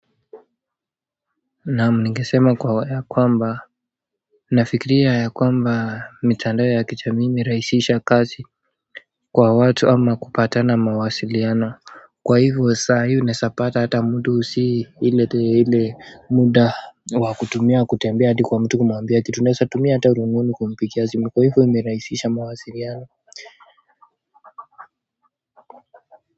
Naam ningesema kwa ya kwamba nafikiria ya kwamba mitandao ya kijamii imerahisisha kazi kwa watu ama kupata na mawasiliano kwa hivo wa saa hii unaezapata hata mtu sii ile ile muda wakutumia kutembea hadi kwa mtu kumwambia kitu unaezatumia hata rununu kumpigia simu kwa hivo imerahisisha mawasiliano.